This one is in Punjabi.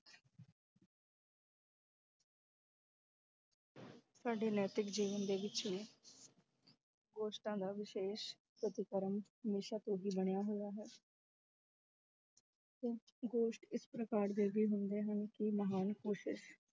ਸਾਡੇ ਨੈਤਿਕ ਜੀਵਨ ਦੇ ਗੋਸ਼ਟਾਂ ਦਾ ਵਿਸ਼ੇਸ਼ ਪ੍ਰਤੀਕਰਨ ਹਮੇਸ਼ਾ ਤੋਂ ਹੀ ਬਣਿਆ ਹੋਇਆ ਹੈ ਤੇ ਗੋਸ਼ਟ ਇਸ ਪ੍ਰਕਾਰ ਦੇ ਵੀ ਹੁੰਦੇ ਹਨ, ਕਿ ਮਹਾਨ ਕੋਸ਼ਿਸ਼